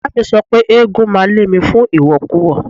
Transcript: Ìyáàmi mi sọ pé eégún máa lé mi fún ìwọ̀kuwọ̀.